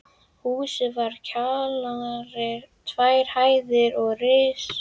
Húsið var kjallari, tvær hæðir og ris.